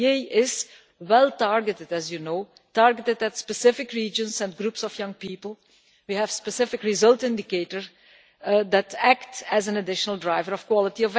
This initiative is well targeted, as you know, targeted at specific regions and groups of young people, and we have specific results indicators that act as an additional driver of quality.